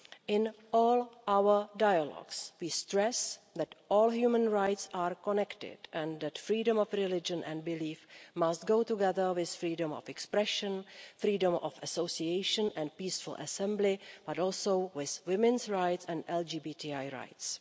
In all our dialogues we stress that all human rights are connected and that freedom of religion and belief must go together with freedom of expression, freedom of association and peaceful assembly, but also with women's rights and LGBTI rights.